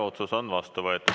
Otsus on vastu võetud.